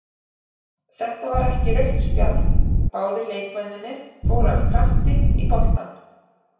Þetta var ekki rautt spjald, báðir leikmennirnir fóru af krafti í boltann.